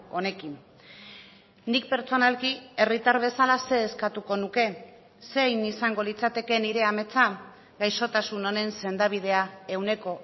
honekin nik pertsonalki herritar bezalaxe eskatuko nuke zein izango litzateke nire ametsa gaixotasun honen sendabidea ehuneko